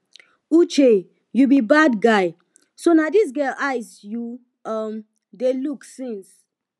uche you be bad guy so na dis girl eyes you um dey look since